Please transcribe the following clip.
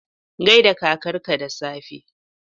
Gai da kakarka da safe!